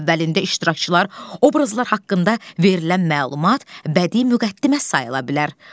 Əsərin əvvəlində iştirakçılar, obrazlar haqqında verilən məlumat bədii müqəddimə sayıla bilər.